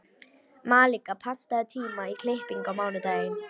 Malika, pantaðu tíma í klippingu á mánudaginn.